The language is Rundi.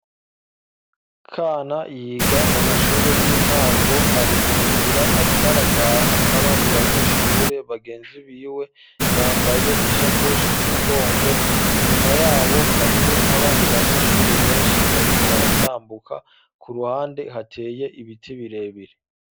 Kana yiga mu mashure y'intango ari mu nzira ariko arataha n'abandi banyeshure bagenzi biwe. Yambaye ishakoshi ku mugongo inyuma yabo hariho n'abandi banyeshure benshi bariko baratambuka, ku ruhande hateye ibiti birebire.